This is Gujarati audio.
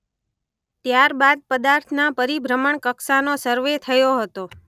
ત્યાર બાદ પદાર્થના પરિભ્રમણકક્ષાનો સરવે થયો હતો.